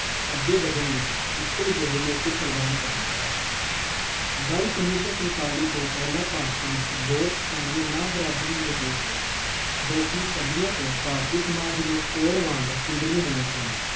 ਅੱਗੇ ਵੱਧਣ ਲਈ ਇੱਕੋ ਜਿਹੇ ਮੌਕੇ ਪ੍ਰਦਾਨ ਕਰਨਾ ਹੈ। ਗੱਲ ਉਨੀ ਸੌ ਸੰਤਾਲੀ ਤੋਂ ਪਹਿਲਾਂ ਭਾਰਤ ਵਿੱਚ ਬਹੁਤ ਸਾਰੀਆਂ ਨਾ-ਬਰਾਬਰੀ ਮੌਜੂਦ ਸਨ ਜੋ ਕਿ ਸਦੀਆਂ ਤੋਂ ਭਾਰਤੀ ਸਮਾਜ ਨੂੰ ਕੋਹੜ ਵਾਂਗ ਚਿੰਬੜੀਆਂ ਹੋਈਆਂ ਸਨ।